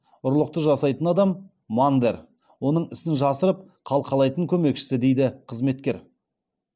ұрлықты жасайтын адам мандер оның ісін жасырып қалқалайтын көмекшісі дейді қызметкер